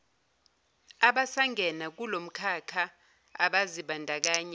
abasangena kulomkhakha abazibandakanya